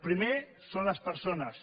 primer són les persones